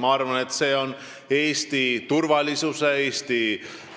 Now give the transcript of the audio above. Ma arvan, et see on Eesti turvalisuse, Eesti